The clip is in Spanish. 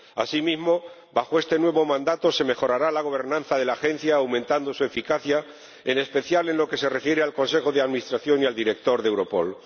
Asimismo, bajo este nuevo mandato se mejorará la gobernanza de la Agencia, aumentando su eficacia, en especial en lo que se refiere al Consejo de Administración y al director de Europol.